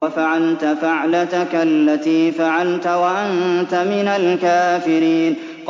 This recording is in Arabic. وَفَعَلْتَ فَعْلَتَكَ الَّتِي فَعَلْتَ وَأَنتَ مِنَ الْكَافِرِينَ